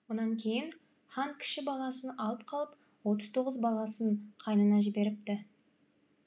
онан кейін хан кіші баласын алып қалып отыз тоғыз баласын қайнына жіберіпті